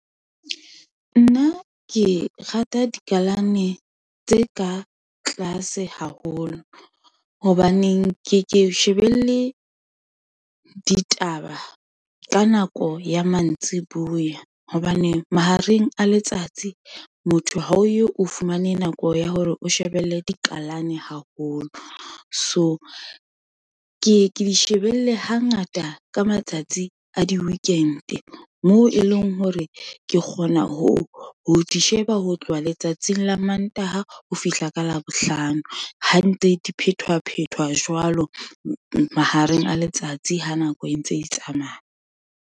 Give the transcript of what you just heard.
Nna ke rata dikalane tse ka tlase haholo, hobaneng ke ke shebelle ditaba ka nako ya mantsibuya, hobane mahareng a letsatsi motho ha o ye o fumane nako ya hore o shebelle dikalane haholo. So ke ye ke di shebelle ha ngata, ka matsatsi a di-weekend, moo e leng hore ke kgona ho di sheba, ho tloha letsatsing la mantaha ho fihla ka labohlano, ha ntse di phethwa phethwa jwalo, mahareng a letsatsi ha nako e ntse e tsamaya.